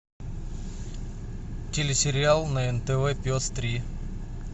телесериал на нтв пес три